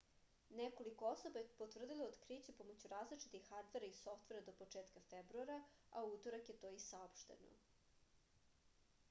nekoliko osoba je potvrdilo otkriće pomoću različitih hardvera i softvera do početka februara a u utorak je to i saopšteno